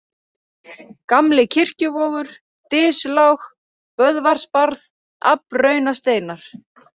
Gamli-Kirkjuvogur, Dyslág, Böðvarsbarð, Aflraunasteinar